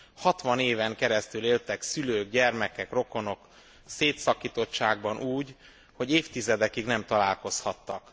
Hatvan éven keresztül éltek szülők, gyermekek, rokonok szétszakítottságban úgy, hogy évtizedekig nem találkozhattak.